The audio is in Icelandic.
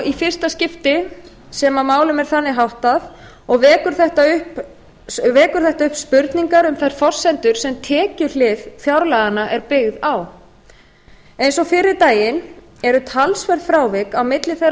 í fyrsta skipti sem málum er þannig háttað og vekur þetta upp spurningar um þær forsendur sem tekjuhlið fjárlaganna er byggð á eins og fyrri daginn eru talsverð frávik á milli þeirra